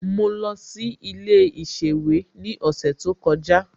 Mo lọ sí ilé ìsèwé ní ọ̀sẹ̀ tó kọjá